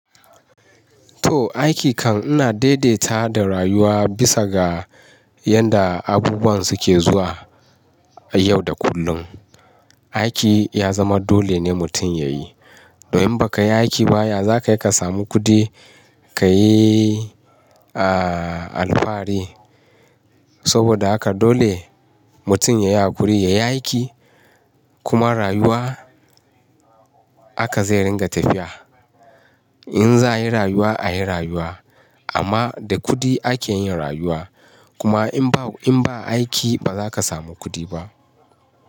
To aiki kan ina daidaita da rayuwa bisa ga yadda abubuwa suke zuwa yau da kullum. Aiki ya zama dole ne mutum ya yi. Domin baka yi aiki ba yaza kai ka samu kuɗi, ka yi, aaa, alfahari. Saboda haka dole mutum ya yi hakuri, ya yi aiki kuma rayuwa aka zai ringa tafiya. In za a yi rayuwa, a yi rayuwa amma da kuɗi ake yin rayuwa. Kuma in ba, in ba aiki ba zaka samu kuɗi ba.